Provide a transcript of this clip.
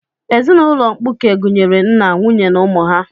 Ezinaụlọ mkpuke gụnyere nna, nwunye na ụmụ ha.